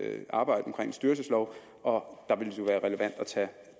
arbejde omkring styrelsesloven og